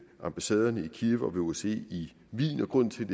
ambassaderne i kiev og ved osce i wien grunden til